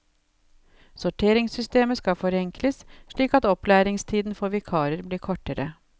Sorteringssystemet skal forenkles, slik at opplæringstiden for vikarer blir kortere.